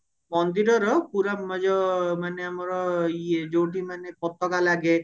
ମନ୍ଦିରର ପୁରା ଏ ଯୋଉ ମାନେ ଆମର ଇଏ ଯୋଉଠି ମାନେ ପତାକା ଲାଗେ